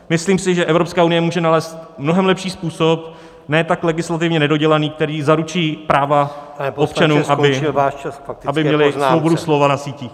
Myslím si, že Evropská unie může nalézt mnohem lepší způsob, ne tak legislativně nedodělaný, který zaručí práva občanů , aby měli svobodu slova na síti.